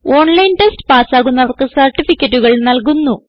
online test പാസ്സാകുന്നവർക്ക് സർട്ടിഫികറ്റുകൾ നല്കുന്നു